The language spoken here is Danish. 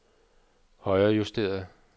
højrejusteret